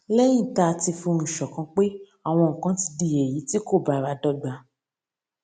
léyìn tá a ti fohùn ṣòkan pé àwọn nǹkan ti di èyí tí kò bára dógba